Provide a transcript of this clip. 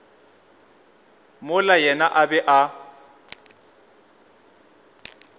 mola yena a be a